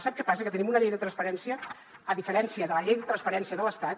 sap què passa que tenim una llei de transparència a diferència de la llei de transparència de l’estat